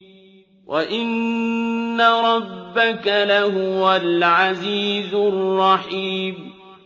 وَإِنَّ رَبَّكَ لَهُوَ الْعَزِيزُ الرَّحِيمُ